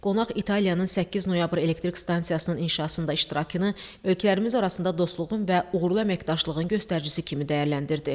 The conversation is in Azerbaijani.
Qonaq İtaliyanın 8 noyabr elektrik stansiyasının inşasında iştirakını ölkələrimiz arasında dostluğun və uğurlu əməkdaşlığın göstəricisi kimi dəyərləndirdi.